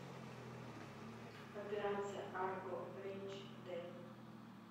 операция арго эйч дэ